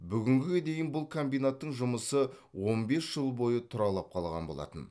бүгінге дейін бұл комбинаттың жұмысы он бес жыл бойы тұралап қалған болатын